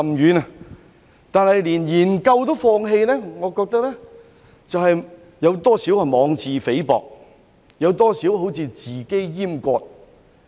然而，連研究也放棄，我認為多少有些妄自菲薄，好像自我閹割。